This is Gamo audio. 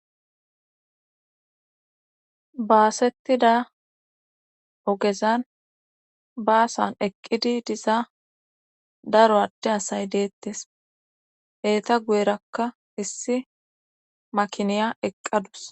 Baasettida ogezan baasan eqqidi diza daro adde asay deettes heeta guyerakka issi makiniya eqqadus